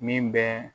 Min bɛ